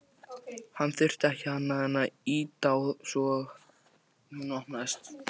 Hann þurfti ekki annað en ýta á svo hún opnaðist.